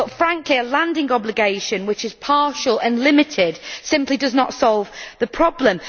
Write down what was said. Frankly, a landing obligation which is partial and limited simply does not solve the problem.